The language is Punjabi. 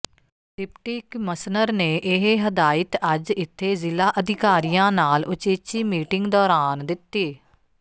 ਡਿਪਟੀ ਕਿਮਸਨਰ ਨੇ ਇਹ ਹਦਾਇਤ ਅੱਜ ਇੱਥੇ ਜ਼ਿਲ੍ਹਾ ਅਧਿਕਾਰੀਆਂ ਨਾਲ ਉਚੇਚੀ ਮੀਟਿੰਗ ਦੌਰਾਨ ਦਿੱਤੀ